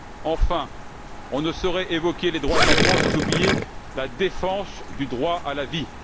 Enfin, on ne saurait évoquer les droits de l'enfant sans oublier la défense du droit à la vie.